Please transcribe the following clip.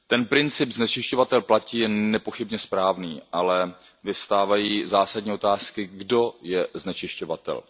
Princip znečišťovatel platí je nepochybně správný, ale vyvstávají zásadní otázky, kdo je znečišťovatel.